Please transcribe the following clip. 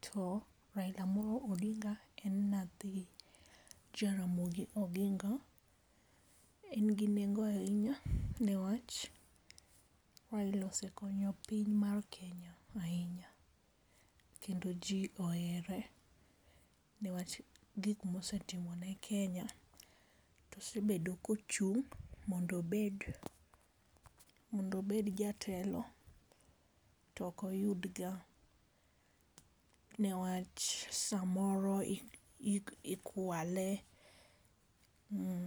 to, Raila Amolo Odinga en nathi, Jaramogi Oginga, en gi nengo ahinya newach Raila osekonyo piny mar Kenya ahinya. Kendo jii ohere, newach gik mosetimo ne Kenya, tosebedo kochung' mondo obed mondo obed jatelo tok oyud ga newach samoro i i ikwale um